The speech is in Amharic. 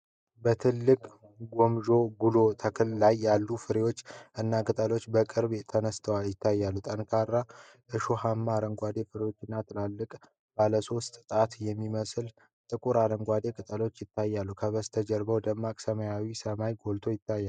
በትልቁ የ castor bean (ገመሾ/ጉሎ) ተክል ላይ ያሉ ፍሬዎች እና ቅጠሎች በቅርበት ተነስተው ይታያሉ። ጠንካራ እሾሃማ አረንጓዴ ፍሬዎች እና ትላልቅ ባለሰባት ጣት የሚመስሉ ጥቁር አረንጓዴ ቅጠሎች ይታያሉ። ከበስተጀርባው ደማቅ ሰማያዊ ሰማይ ጎልቶ ይታያል።